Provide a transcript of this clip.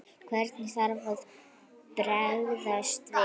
Hvernig þarf að bregðast við?